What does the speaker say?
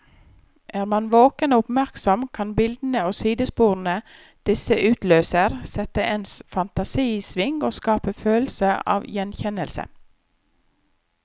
Er man våken og oppmerksom, kan bildene og sidesporene disse utløser, sette ens fantasi i sving og skape følelse av gjenkjennelse.